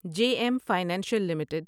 J M financial limited